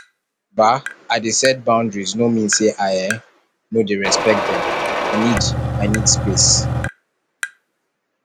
um i dey set boundaries no mean sey i um no dey respect dem i need i need space